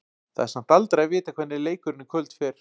Það er samt aldrei að vita hvernig leikurinn í kvöld fer.